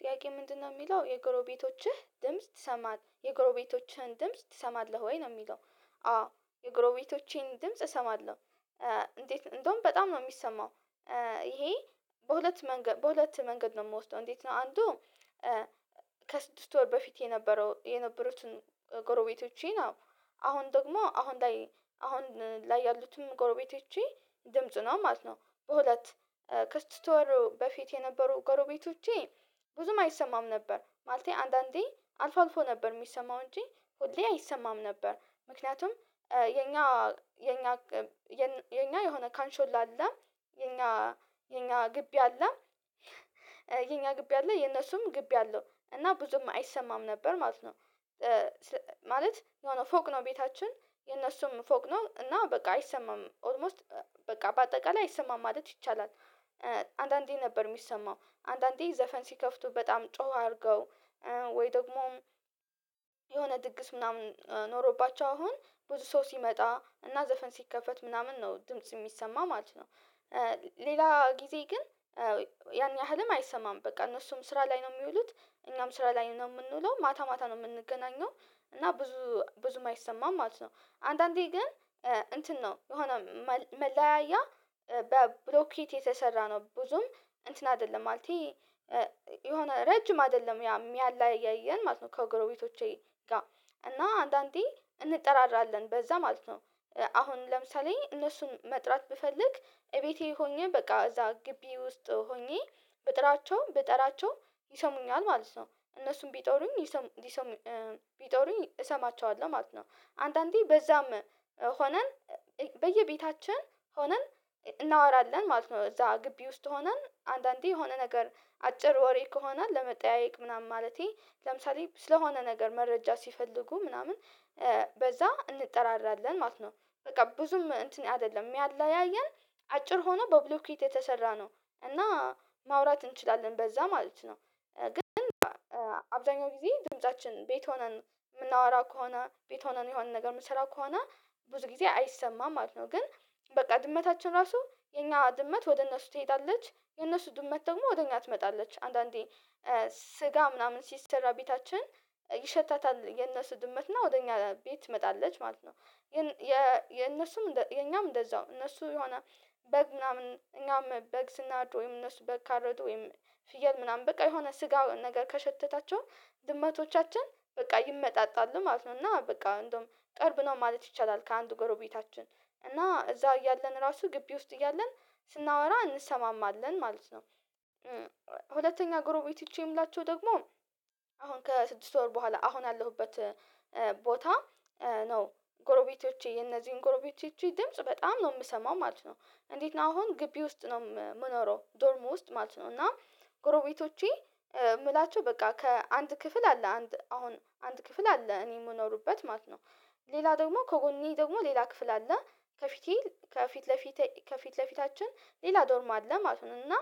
ጥያቄ ምንድነው የሚለው የጎረቤቶችህ ድምጽ ትሰማል የጎረቤቶችህን ድምጽ ትሰማለህ ወይ ነው የሚለው? አዎ የጎሮቤቶቼን ድምጽ እሰማለሁ። እንዴት እንደውም በጣም ነው የሚሰማው። ይሄ በሁለት መንገድ በሁለት መንገድ ነው የምወስደው እንዴት ነው አንዱ ከስድስት ወር በፊት የነበረው የነበሩትን። ጎረቤቶቼን አዎ አሁን ደግሞ አሁን ላይ አሁን ላይ ያሉትን ጎረቤቶቼ ድምጽ ነው ማለት ነው። በሁለት ከስድስት ወር በፊት የነበሩ ጎረቤቶቼ ብዙም አይሰማም ነበር ማለቴ አንዳንዴ አልፎ አልፎ ነበር የሚሰማው እንጂ ሁሌ አይሰማም ነበር። ምክንያቱም የኛ የኛ የኛ የኛ የሆነ ካንሾላ አላ የኛ የኛ ግቢ አለ። የኛ ግቢ ያለ የነሱም ግቢ አለው እና ብዙም አይሰማም ነበር ማለት ነው። ማለት የሆነ ፎቅ ነው ቤታችን የነሱም ፎቅ ነው እና በቃ አይሰማም ኦልሞስት በቃ በአጠቃላይ አይሰማም ማለት ይቻላል። አንዳንዴ ነበር የሚሰማው አንዳንዴ ዘፈን ሲከፍቱ በጣም ጮህ አድርገው ወይ ደግሞም የሆነ ድግስ ምናምን ኖሮባቸው አሁን ብዙ ሰው ሲመጣ እና ዘፈን ሲከፈት ምናምን ነው ድምጽ የሚሰማ ማለት ነው። ሌላ ጊዜ ግን ያን ያህልም አይሰማም በቃ እነሱም ስራ ላይ ነው የሚውሉት እኛም ስራ ላይ ነው የምንውለው ማታ ማታ ነው የምንገናኘው እና ብዙ ብዙ አይሰማም ማለት ነው። አንዳንዴ ግን እንትን ነው የሆነ መለያያ በብሎኬት የተሰራ ነው ብዙም እንትን አይደለም ማለቴ የሆነ ረጅም አይደለም ያ የሚያለያየን ማለት ነው ከጎረቤቶቼ ጋር እና አንዳንዴ እንጠራራለን በዛ ማለት ነው። አሁን ለምሳሌ እነሱን መጥራት ብፈልግ እቤቴ ሆኜ በቃ እዛ ግቢ ውስጥ ሆኜ ብጥራቸው ብጥራቸው ይሰሙኛል ማለት ነው እነሱም ቢጠሩኝ ይሰሙ ይሰሙ ቢጠሩኝ እሰማቸዋለሁ ማለት ነው። አንዳንዴ በዛም ሆነን በየቤታችን ሆነን እናወራለን ማለት ነው እዛ ግቢ ውስጥ ሆነን አንዳንዴ የሆነ ነገር አጭር ወሬ ከሆነ ለመጠያየቅ ምናምን ማለቴ ለምሳሌ ስለሆነ ነገር መረጃ ሲፈልጉ ምናምን በዛ እንጠራራለን ማለት ነው። በቃ ብዙም እንትን አይደለም ሚያለያየን አጭር ሆኖ በብሎኬት የተሰራ ነው። እና ማውራት እንችላለን በዛ ማለት ነው። ግን አብዛኛው ጊዜ ድምፃችን ቤት ሆነን የምናወራ ከሆነ ቤት ሆነን የሆነ ነገር የምሰራው ከሆነ ብዙ ጊዜ አይሰማም ማለት ነው። ግን በቃ ድመታችን ራሱ የኛ ድመት ወደ እነሱ ትሄዳለች የነሱ ድመት ደግሞ ወደ እኛ ትመጣለች አንዳንዴ ስጋ ምናምን ሲሰራ ቤታችን ይሸታታል የነሱ ድመትና ወደ እኛ ቤት ትመጣለች ማለት ነው። ግን የ የእነሱም የኛም እንደዛው እነሱ የሆነ በግ ምናምን እኛም በግ ስናርድ ወይም እነሱ በግ ካረዱ ወይም ፍየል ምናምን በቃ የሆነ ስጋ ነገር ከሸተታቸው ድመቶቻችን በቃ ይመጣጣሉ ማለት ነው። እና በቃ እንደውም ጠርብ ነው ማለት ይቻላል ከአንዱ ጎረቤታችን እና እዛው እያለን ራሱ ግቢ ውስጥ እያለን ስናወራ እንሰማማለን ማለት ነው። ሁለተኛ ጎረቤት ጎረቤቶቼ የምላቸው ደግሞ አሁን ከስድስት ወር በኋላ አሁን ያለሁበት ቦታ ነው ጎረቤቶቼ የነዚህን ጎረቤቶቼ ድምጽ በጣም ነው የምሰማው ማለት ነው። እንዴት ነው አሁን ግቢ ውስጥ ነው የምኖረው ዶርም ውስጥ ማለት ነው እና ጎረቤቶቼ እምላቸው በቃ ከአንድ ክፍል አለ አንድ አሁን አንድ ክፍል አለ እኔ የምኖርበት ማለት ነው። ሌላ ደግሞ ከጎኔ ደግሞ ሌላ ክፍል አለ ከፊቴ ከፊት ለፊት ከፊት ለፊታችን ሌላ ዶርም አለ ማለት ነው። እና